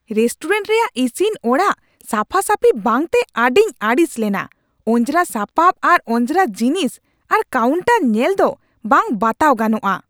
Restaurant ᱨᱮᱭᱟᱜ ᱤᱥᱤᱱ ᱚᱲᱟᱜ ᱥᱟᱯᱷᱟᱼᱥᱟᱯᱷᱤ ᱵᱟᱝᱛᱮ ᱟᱹᱰᱤᱧ ᱟᱹᱲᱤᱥ ᱞᱮᱱᱟ ᱾ ᱚᱸᱡᱽᱨᱟ ᱥᱟᱯᱟᱯ ᱟᱨ ᱚᱸᱡᱽᱨᱟ ᱡᱤᱱᱤᱥ ᱟᱨ ᱠᱟᱣᱩᱱᱴᱟᱨ ᱧᱮᱞ ᱫᱚ ᱵᱟᱝ ᱵᱟᱛᱟᱣ ᱜᱟᱱᱚᱜᱼᱟ ᱾